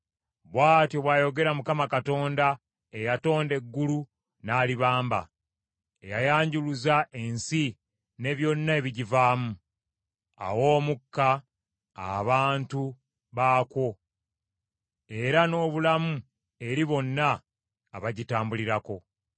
Bw’atyo bw’ayogera Mukama Katonda, eyatonda eggulu n’alibamba. Eyayanjuluza ensi ne byonna ebigivaamu; awa omukka abantu baakwo era n’obulamu eri bonna abagitambulirako.